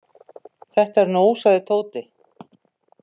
Þetta er nóg sagði Tóti.